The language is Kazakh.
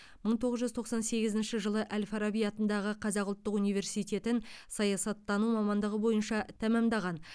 мың тоғыз жүз тоқсан сегізінші жылы әл фараби атындағы қазақ ұлттық университетін саясаттану мамандығы бойынша тәмамдаған